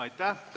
Aitäh!